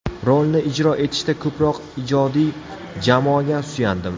Rolni ijro etishda ko‘proq ijodiy jamoaga suyandim.